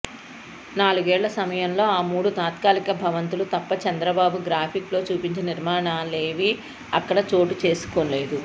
నాలుగేళ్ల సమయంలో ఆ మూడు తాత్కాలిక భవంతులు తప్ప చంద్రబాబు గ్రాఫిక్ లో చూపించిన నిర్మాణాలేవీ అక్కడ చోటుచేసుకోలేదు